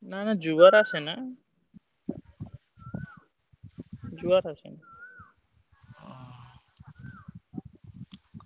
ନା ନା ଜୁଆର ଆସିନି ଜୁଆର ଆସିନି।